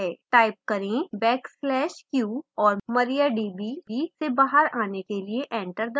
type करें backslash q और mariadb से बाहर आने के लिए enter दबाएं